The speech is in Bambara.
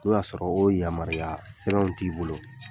O y'a sɔrɔ o yamaruya sɛbɛnw t'i bolo